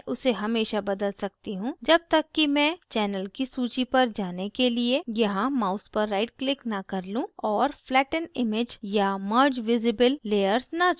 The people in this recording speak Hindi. मैं उसे हमेशा बदल सकती हूँ जब तक कि मैं channel की सूची पर जाने के लिए यहाँ mouse पर right click न कर लूँ और flatten image या merge visible layers न चुन लूँ